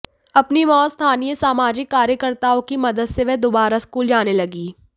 अपनी मां और स्थानीय सामाजिक कार्यकर्ताओं की मदद से वह दोबारा स्कूल जाने लगी